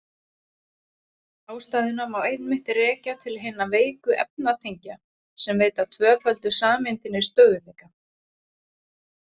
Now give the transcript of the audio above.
Ástæðuna má einmitt rekja til hinna veiku efnatengja sem veita tvöföldu sameindinni stöðugleika.